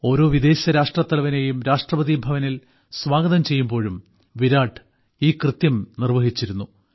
ഓരോ വിദേശരാഷ്ട്രത്തലവനേയും രാഷ്ട്രപതിഭവനിൽ സ്വാഗതം ചെയ്യുമ്പോഴും വിരാട് ഈ കൃത്യം നിർവ്വഹിച്ചിരുന്നു